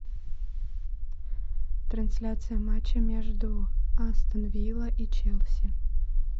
трансляция матча между астон вилла и челси